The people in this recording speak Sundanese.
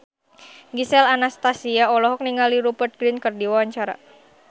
Gisel Anastasia olohok ningali Rupert Grin keur diwawancara